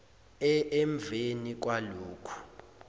e emveni kwalokhu